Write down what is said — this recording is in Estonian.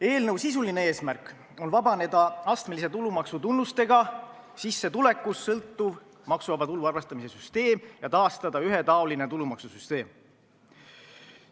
Eelnõu sisuline eesmärk on vabaneda astmelise tulumaksu tunnustega, sissetulekust sõltuvast maksuvaba tulu arvestamise süsteemist ja taastada ühetaoline tulumaksusüsteem.